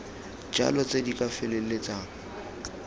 jalo tse di ka feleltsang